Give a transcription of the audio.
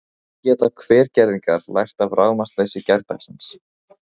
En hvað geta Hvergerðingar lært af rafmagnsleysi gærdagsins?